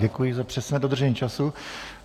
Děkuji za přesné dodržení času.